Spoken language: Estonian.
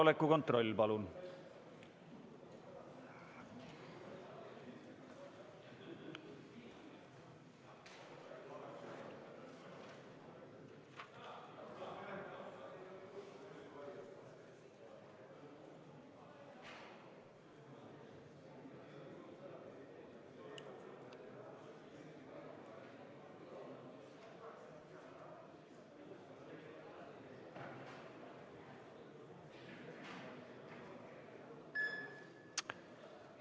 Kohaloleku kontroll, palun!